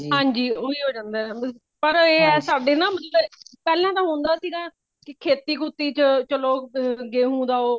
ਹਾਂਜੀ ਓਹੀ ਹੋ ਜਾਂਦਾ ਪਰ ਇਹ ਹੈ ਪਰ ਸਾਡੇ ਨਾ ਮਤਲਬ ਪਹਿਲਾ ਦਾ ਹੋਂਦਾ ਸੀ ਗਾ ਕੀ ਖੇਤੀ ਖੁਤੀ ਚ ਲੋਗ ਅ ਗੇਹੁ ਦਾ ਉਹ